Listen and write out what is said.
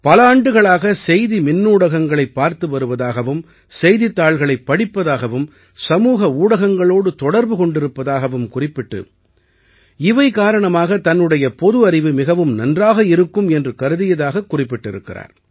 பல ஆண்டுகளாக செய்தி மின்னூடகங்களைப் பார்த்து வருவதாகவும் செய்தித்தாள்களைப் படிப்பதாகவும் சமூக ஊடகங்களோடு தொடர்பு கொண்டிருப்பதாகவும் குறிப்பிட்டு இவை காரணமாக தன்னுடைய பொது அறிவு மிகவும் நன்றாக இருக்கும் என்று கருதியதாகக் குறிப்பிட்டுள்ளார்